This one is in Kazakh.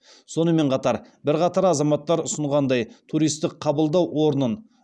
сонымен қатар бірқатар азаматтар ұсынғандай туристік қабылдау орнын